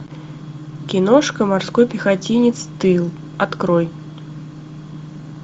киношка морской пехотинец тыл открой